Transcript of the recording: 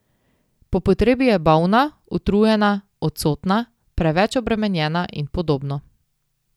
Po potrebi je bolna, utrujena, odsotna, preveč obremenjena in podobno.